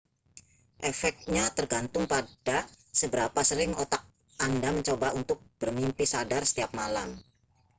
efeknya tergantung pada seberapa sering otak anda mencoba untuk bermimpi sadar setiap malam